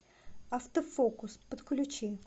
автофокус подключи